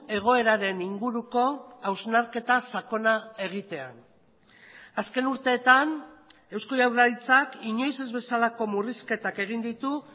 egoeraren inguruko hausnarketa sakona egitea azken urteetan eusko jaurlaritzak inoiz ez bezalako murrizketak egin ditu